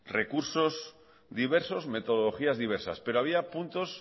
recursos diversos metodologías diversas pero había puntos